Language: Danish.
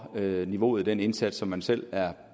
niveauet i den indsats som man selv er